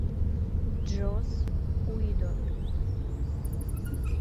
джосс уидон